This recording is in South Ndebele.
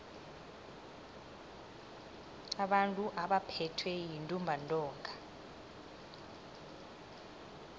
abantu abaphethwe yintumbantonga